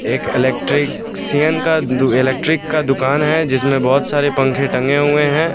एक electrician का दु इलेक्ट्रिक का दुकान है जिसमें बहुत सारे पंखे टंगे हुए हैं।